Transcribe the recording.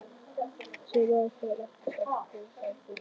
Þessi maður þarf læknishjálp hrópaði Gunnlaugur sterki.